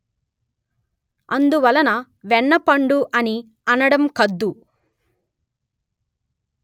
అందువలన వెన్నపండు అని అనడం కద్దు